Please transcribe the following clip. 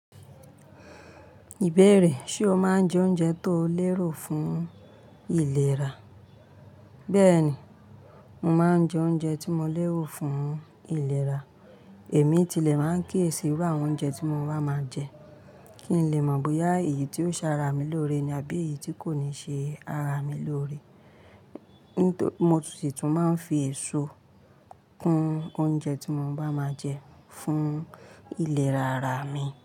Ìbéèrè, ṣe o máa ń jẹ oúnjẹ tó lérò fún ìlera? Bẹ́ẹ̀ni, mo máa ń jẹ oúnjẹ tí mo lérò fún ìlera. Èmi tilẹ̀ máa ń kiyèsì íru awon oúnjẹ tí mo bá máa jẹ, kí n lè mọ̀ bóyá èyí tí ó ṣaara mi lóore ni àbí èyí tí kò ní ṣe ara mi lóore. Mo si tun máa ń fi èso kún oúnjẹ tí mo bá máa jẹ fún ìlera ara mi.